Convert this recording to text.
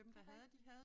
Det rigtigt